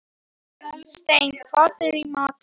Hallsteinn, hvað er í matinn?